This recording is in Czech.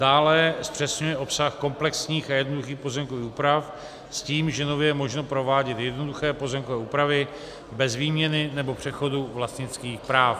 Dále, zpřesňuje obsah komplexních a jednoduchých pozemkových úprav s tím, že nově je možno provádět jednoduché pozemkové úpravy bez výměny nebo přechodu vlastnických práv.